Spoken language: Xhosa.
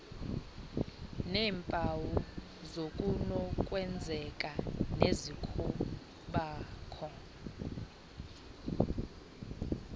neempawu zokunokwenzeka nezokubakho